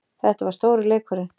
Þetta var stóri leikurinn